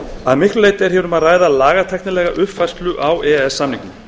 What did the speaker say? að miklu leyti er hér um að ræða lagatæknilega uppfærslu á e e s samningnum